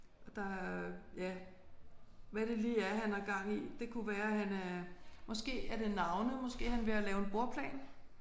Og der er ja hvad det lige er han har gang i det kunne være han er måske er det navne måske er han ved at lave en bordplan